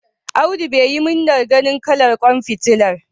Abdu bai yi murna ganin kalar ƙwan fitilar.